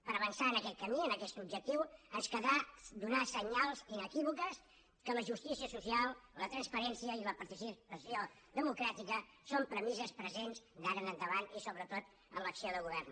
per avançar en aquest camí en aquest objectiu ens caldrà donar senyals inequívocs que la justícia social la transparència i la participació democràtica són premisses presents d’ara en endavant i sobretot en l’acció de govern